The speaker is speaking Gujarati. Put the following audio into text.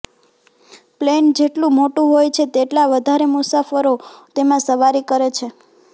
પ્લેન જેટલું મોટું હોય છે તેટલા વધારે મુસાફરો તેમાં સવારી કરે છે